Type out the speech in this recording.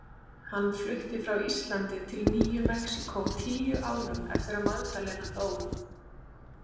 Hann flutti frá Íslandi til Nýju Mexíkó tíu árum eftir að Magdalena dó.